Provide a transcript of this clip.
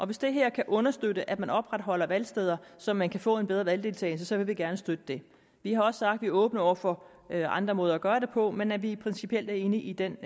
hvis det her kan understøtte at man opretholder valgsteder så man kan få en bedre valgdeltagelse vil vi gerne støtte det vi har også sagt vi åbne over for andre måder at gøre det på men at vi principielt er enige i den